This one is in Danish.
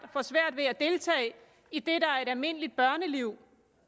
får svært ved at deltage i det der er et almindeligt børneliv